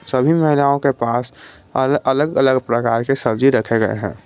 सभी महिलाओं के पास अलग अलग प्रकार के सब्जी रखे गए हैं।